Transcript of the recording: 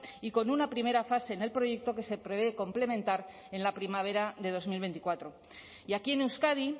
y con una primera fase en el proyecto que se prevé complementar en la primavera de dos mil veinticuatro y aquí en euskadi